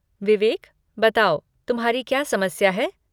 विवेक, बताओ, तुम्हारी क्या समस्या है?